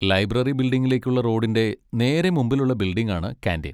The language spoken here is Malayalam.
ലൈബ്രറി ബിൽഡിങ്ങിലേക്കുള്ള റോഡിൻ്റെ നേരെ മുമ്പിലുള്ള ബിൽഡിങ്ങാണ് കാന്റീൻ.